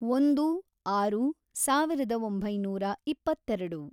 ಒಂದು, ಆರು, ಸಾವಿರದ ಒಂಬೈನೂರ ಇಪ್ಪತ್ತೆರೆಡು